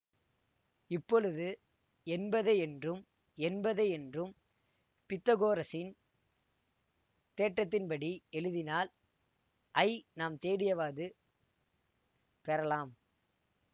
இப்பொழுது என்பதை என்றும் என்பதை என்றும் பித்தகோரசின் தேற்றத்தின்படி எழுதினால் ஐ நாம் தேடியவாது பெறலாம்